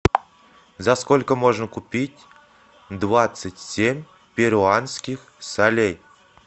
за сколько можно купить двадцать семь перуанских солей